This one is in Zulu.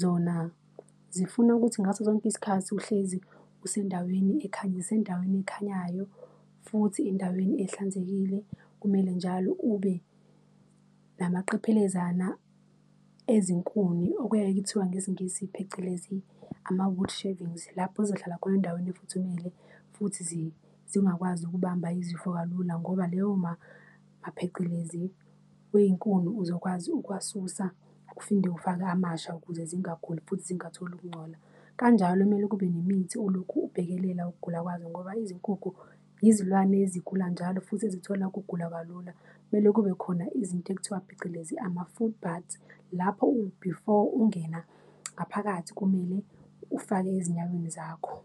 zona zifuna ukuthi ngaso sonke isikhathi uhlezi usendaweni zisendaweni ekhanyayo futhi endaweni ehlanzekile. Kumele njalo ube namaqephelezana ezinkuni, okuyaye kuthiwa ngesiNgisi phecelezi, ama-wood shavings, lapho zohlala khona endaweni efuthumele futhi zingakwazi ukubamba izifo kalula ngoba leyo mapheqelezi wey'nkuni uzokwazi ukuwasusa, ufinde ufake amasha ukuze zingaguli futhi zingatholi ukungcola. Kanjalo kumele kube nemithi olokhu ubhekelela ukugula kwazo, ngoba izinkukhu yizilwane ezigula njalo futhi ezithola ukugula kalula. Kumele kube khona izinto ekuthiwa phecelezi, ama-foot baths, lapho before ungena ngaphakathi, kumele ufake ezinyaweni zakho.